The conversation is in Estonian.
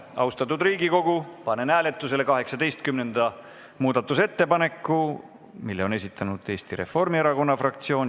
Austatud Riigikogu, panen hääletusele 18. muudatusettepaneku, mille on esitanud Eesti Reformierakonna fraktsioon.